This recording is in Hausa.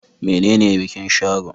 Menene bikin Sharo?